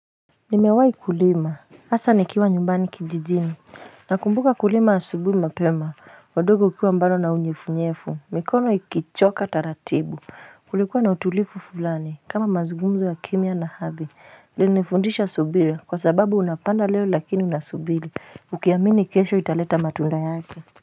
Nimewai kulima asa nikiwa nyumbani kijijini nakumbuka kulima asubuhi mapema udogo ukiwa mbado na unyefunyefu mikono ikichoka taratibu kulikuwa na utulifu fulani kama mazgumzo ya kimya na hadhi linifundisha subili kwa sababu unapanda leo lakini unasubili ukiamini kesho italeta matunda yake.